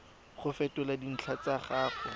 go fetola dintlha tsa gago